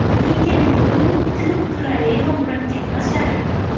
Lekin bu – ko‘p qirrali va murakkab masala.